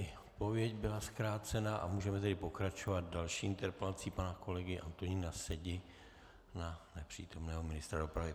I odpověď byla zkrácená a můžeme tedy pokračovat další interpelací pana kolegy Antonína Sedi na nepřítomného ministra dopravy.